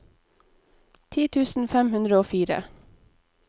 ti tusen fem hundre og fire